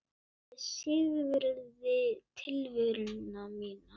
Ég syrgði tilveru mína.